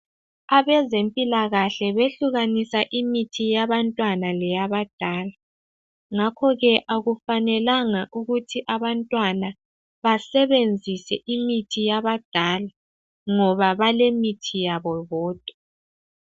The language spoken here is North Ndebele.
Abezempilakahle behlukanisa imithi yabantwana leyabadala ngakho ke akufanelanga ukuthi abantwana basebenzise imithi yabadala ngoba balemithi yabo bodwa